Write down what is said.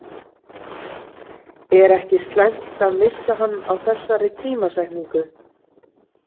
Er ekki slæmt að missa hann á þessari tímasetningu?